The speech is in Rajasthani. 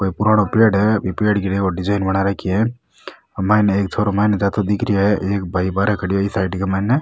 कोई पुराणों पेड़ है ए पेड़ गिरया हुआ डिजाइन बना राखी है मैं एक छोरो मैंने जातो दिख रहो है एक भाई बहारे इ खड़ा है ई साइड मैंने --